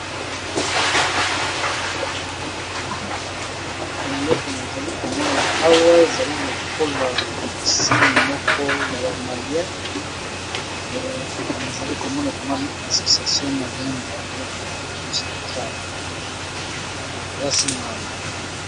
Eleko nazali komona awa ezali lokola signe, moko ya ba malien nazali komona ekomami association malien de club fustra eza signe ya bamalia.